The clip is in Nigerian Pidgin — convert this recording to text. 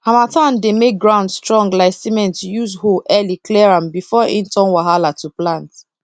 harmattan dey make ground strong like cementuse hoe early clear am before e turn wahala to plant